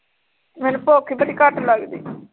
ਮੈਨੂੰ ਭੁੱਖ ਈ ਬੜੀ ਘੱਟ ਲੱਗਦੀ